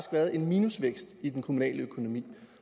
været en minusvækst i den kommunale økonomi